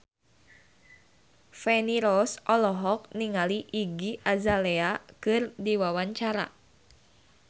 Feni Rose olohok ningali Iggy Azalea keur diwawancara